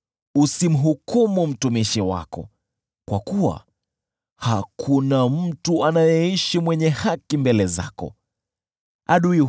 Usimhukumu mtumishi wako, kwa kuwa hakuna mtu anayeishi aliye mwenye haki mbele zako.